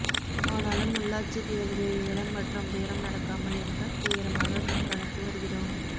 ஆனாலும் உள்ளாட்சி தேர்தலில் ஏலம் மற்றும் பேரம் நடக்காமல் இருக்க தீவிரமாக கண்காணித்து வருகிறோம்